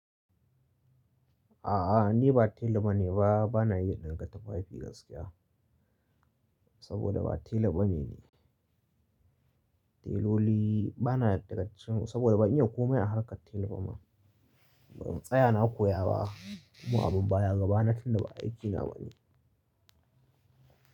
A'a, ni ba tela bane ba, bana iya ɗinka tufafi gaskiya. Saboda ba tela bane ni. Teloli, bana daga, saboda ban iya komai a harkar tela ba ma. Tsaya na koya ba, kuma abun baya gaba na tun da ba aiki na bane.